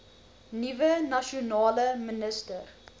nuwe nasionale minister